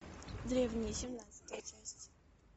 древние семнадцатая часть